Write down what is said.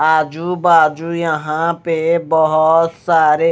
आजू बाजू यहां पे बहोत सारे--